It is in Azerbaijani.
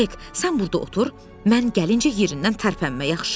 Hek, sən burda otur, mən gəlincə yerindən tərpənmə, yaxşı?